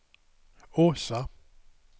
Åsa